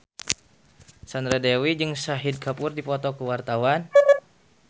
Sandra Dewi jeung Shahid Kapoor keur dipoto ku wartawan